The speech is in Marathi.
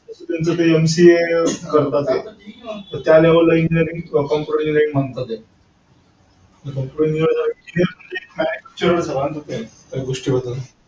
त्यांचं ते MCA करता ते. त्या level ला Engineering. software engineering म्हणता ते.